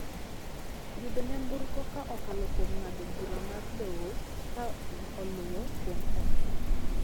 Yudo nyamburko ka okalo kuom ng'ado bura mar doho ka oluo kuom okshon.